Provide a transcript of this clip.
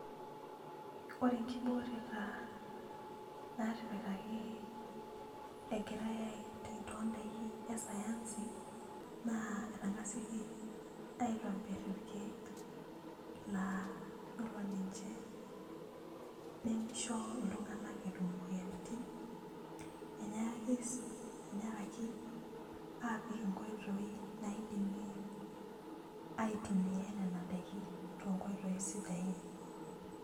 Ore enkibooreta naatipikaki egiate aitayu too daikin e sayansi etengasaki aitayu irkeek, laa iyiolo ninche nimisho iltunganak edol imoyiaritin, enyaaki sii apik inkoitoi naisumie aitumia Nena daikin too nkoitoi sidain.